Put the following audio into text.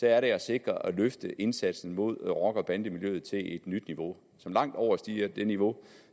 er det at sikre og løfte indsatsen mod rocker og bandemiljøet til et nyt niveau som langt overstiger det niveau